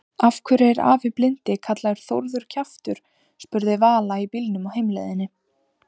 Af hverju er afi blindi kallaður Þórður kjaftur? spurði Vala í bílnum á heimleiðinni.